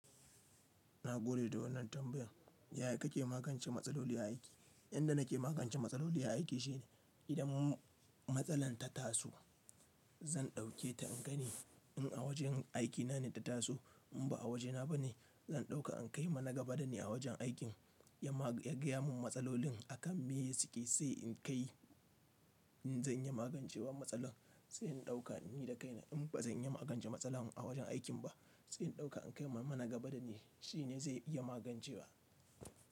Na gode da wannan tambayan. Yaya kake magance matsaloli a aiki? Yanda nake magance matsaloli a aiki shine idan matsalan ta taso, zan ɗauke ta in gani in a wajen aikina ne ta taso. In ba a wajena bane, zan ɗauka in kai ma nagaba da ni a wajen aikin ya gaya mun matsalolin akan meye suke sai in kai. In zan iya magancewa matsalar sai in dauka ni da kai na. In ba zan iya magance matsalar a wajen aikin ba, sai in ɗauka in kai wa nagaba da ni. Shi ne zai iya magancewa.